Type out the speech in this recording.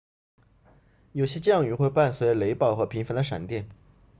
有些降雨会伴随雷暴和频繁的闪电